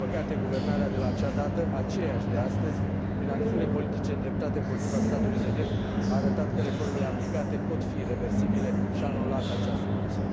Din păcate, guvernarea de la acea dată, aceeași de astăzi, prin acțiunile politice îndreptate împotriva statului de drept, a arătat că reformele aplicate pot fi reversibile și a anulat acea soluție.